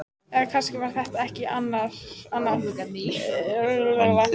Eða kannski var það ekki annað en þreyta.